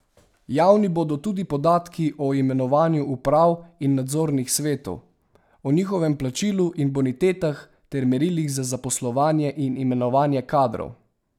Javni bodo tudi podatki o imenovanju uprav in nadzornih svetov, o njihovem plačilu in bonitetah ter merilih za zaposlovanje in imenovanje kadrov.